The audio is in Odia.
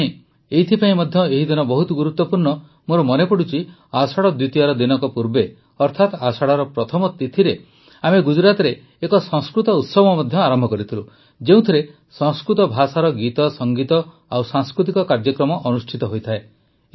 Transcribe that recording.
ମୋ ପାଇଁ ଏଇଥିପାଇଁ ମଧ୍ୟ ଏହିଦିନ ବହୁତ ଗୁରୁତ୍ୱପୂର୍ଣ୍ଣ ମୋର ମନେପଡ଼ୁଛି ଆଷାଢ଼ ଦ୍ୱିତୀୟାର ଦିନକ ପୂର୍ବେ ଅର୍ଥାତ ଆଷାଢ଼ର ପ୍ରଥମ ତିଥିରେ ଆମେ ଗୁଜରାତରେ ଏକ ସଂସ୍କୃତ ଉତ୍ସବ ଆରମ୍ଭ କରିଥିଲୁ ଯେଉଁଥିରେ ସଂସ୍କୃତ ଭାଷାର ଗୀତସଂଗୀତ ଓ ସାଂସ୍କୃତିକ କାର୍ଯ୍ୟକ୍ରମ ଅନୁଷ୍ଠିତ ହୋଇଥାଏ